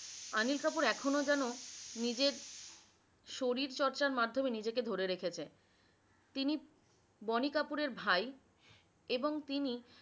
আনিল কাপুর এখন যেন নিজের শরীর চর্চার মাধমে নিজেকে ধরে রেখেছে তিনি বনি কাপুর এর ভাই এবং তিনি